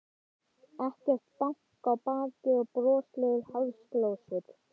Ekkert bank á bakið og broslegar háðsglósur.